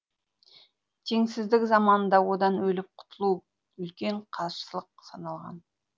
теңсіздік заманында одан өліп құтылу да үлкен қарсылық саналған